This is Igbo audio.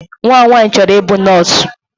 Nwa m nwanyị chọrọ ịbụ nọọsụ.